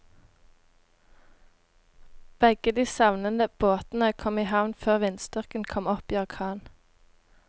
Begge de savnede båtene kom i havn før vindstyrken kom opp i orkan.